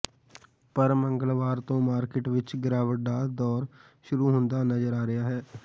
ਪਰ ਮੰਗਲਵਾਰ ਤੋਂ ਮਾਰਕਿਟ ਵਿੱਚ ਗਿਰਾਵਟ ਦਾ ਦੌਰ ਸ਼ੁਰੂ ਹੁੰਦਾ ਨਜ਼ਰ ਆ ਰਿਹਾ ਹੈ